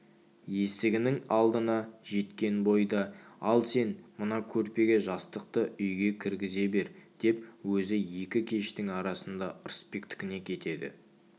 есігінің алдына жеткен бойда ал сен мына көрпе-жастықты үйге кіргізе бер деп өзі екі кештің арасында ырысбектікіне кетеді